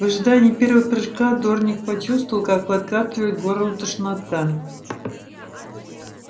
в ожидании первого прыжка дорник почувствовал как подкатывает к горлу тошнота